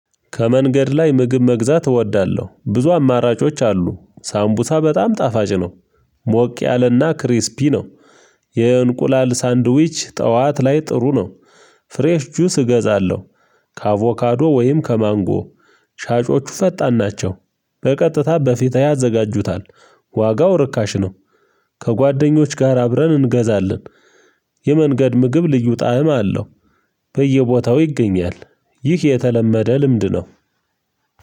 ከመንገድ ላይ ምግብ መግዛት እወዳለሁ ብዙ አማራጮች አሉ ሳምቡሳ በጣም ጣፋጭ ነው። ሞቅ ያለ እና ክሪስፒ ነው። የእንቁላል ሳንድዊች ጠዋት ላይ ጥሩ ነው። ፍሬሽ ጁስ እገዛለሁ። ከአቮካዶ ወይም ከማንጎ። ሻጮቹ ፈጣን ናቸው። በቀጥታ በፊትህ ያዘጋጁታል። ዋጋው ርካሽ ነው። ከጓደኞች ጋር አብረን እንገዛለን። የመንገድ ምግብ ልዩ ጣዕም አለው። በየቦታው ይገኛል። ይህ የተለመደ ልምድ ነው።